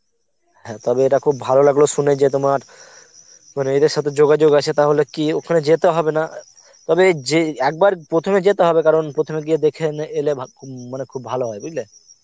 হ্যাঁ তবে ইটা খুব ভালো লাগলো সুনে যে তোমার মানে এদের সথে যোগাযোগ আছে তাহলে কি ওখানে যেতে হবে না তবে যে একবার প্রথমে যেতে হবে কারণ প্রথমে গিয়ে দেখে এনে এলে ভা~ মানে খুব ভালো হয় বুজলে